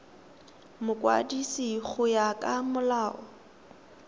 mokwadisi go ya ka molao